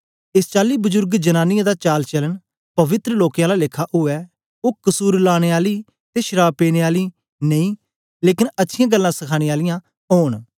एस चाली बजुर्ग जनांनीयें दा चालचालन पवित्र लोकें आला लेखा उवै ओ कसुर लाने आली ते शराव पीनें आली नेई लेकन अच्छियाँ गल्लां सखाने आलियां ओंन